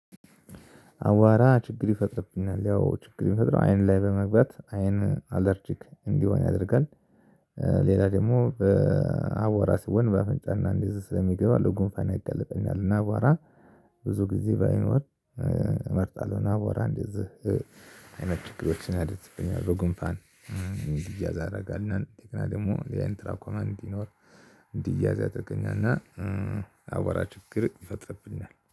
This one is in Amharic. አዋራ ችግር ይፈጥርብናል ያው ችግር የሚፈጥረው አይን ላይ በመግባት አይን አለርጂክ እንዲሆን ያደርጋል። ሌላ ደግሞ በአቧራ ሲሆን በአፍንጫ እና እንደዚ ስለሚገባው ለጉንፋን ያጋልጠኛል። እና አቧራ ብዙ ጊዜ ባይኖር እመርጣለሁ። እና አቧራ እንደዚህ አይነት ችግሮችን ያደርስብኛል በጉንፋን እንዲያዝ ያደርጋል። እንደገና ደግሞ ያይን ትራኮማ እንዲኖር እንዲያዝ ያደርገኛልና። አዋራ ችግር ይፈጥርብኛል